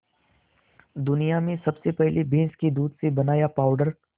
दुनिया में सबसे पहले भैंस के दूध से बनाया पावडर